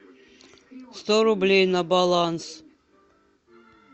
сто рублей на баланс